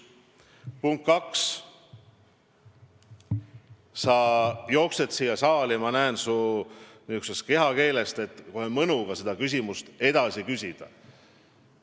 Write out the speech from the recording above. Punkt 2: sa jooksed siia saali, ma näen su kehakeelest, kohe mõnuga seda küsimust küsima.